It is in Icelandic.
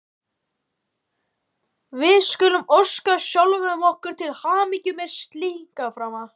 Við skulum óska sjálfum okkur til hamingju með slíkan frama!